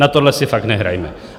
Na tohle si fakt nehrajme.